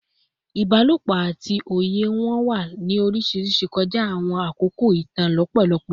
Ibalopo ati oye wọn wa ni oriṣiriṣi kọja awọn akoko itan lọpọlọpọ